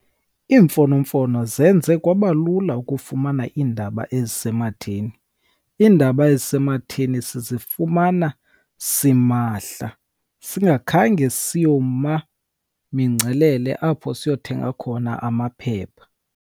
Iimfonomfono zenze kwaba lula ukufumana iindaba ezisematheni. Iindaba ezisematheni sizifumana simahla singakhange siyoma mingcelele apho siyothenga khona amaphepha.